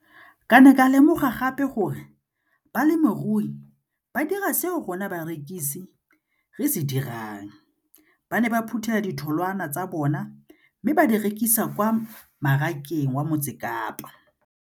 Ke ne ka lemoga gape gore balemirui ba dira seo rona barekisi re se dirang ba ne ba phuthela ditholwana tsa bona mme ba di rekisa kwa marakeng wa Motsekapa.